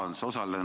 Aitäh!